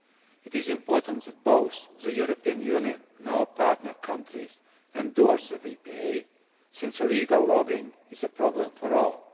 It is important that both the European Union and our partner countries endorse the VPAs, since illegal logging is a problem for all.